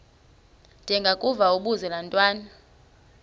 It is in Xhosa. ndengakuvaubuse laa ntwana